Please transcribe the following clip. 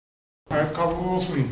айт қабыл болсын